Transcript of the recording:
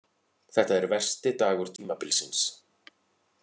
Þetta er versti dagur tímabilsins.